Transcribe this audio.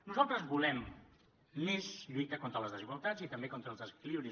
nosaltres volem més lluita contra les desigualtats i també contra els desequilibris